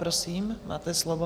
Prosím, máte slovo.